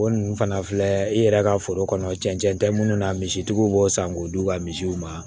O ninnu fana filɛ i yɛrɛ ka foro kɔnɔ cɛncɛn tɛ munnu na misitigiw b'o san k'o d'u ka misiw ma